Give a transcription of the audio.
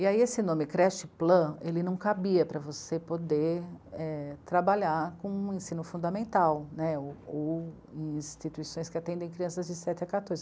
E aí esse nome, creche plan, ele não cabia para você poder, é... trabalhar com o ensino fundamental né, ou em instituições que atendem crianças de sete a quatorze.